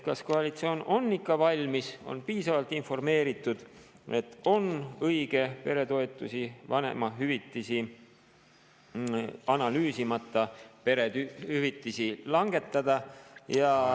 Kas koalitsioon on selleks ikka valmis ja on piisavalt informeeritud, et on õige peretoetusi ja vanemahüvitisi analüüsimata perehüvitisi langetada?